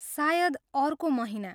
सायद अर्को महिना।